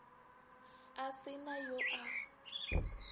a se na yo a